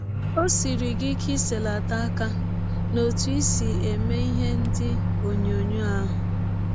Ọ siri gị ike iselata aka n’ọtụ i si eme ihe ndị ọnyọnyọ ahụ?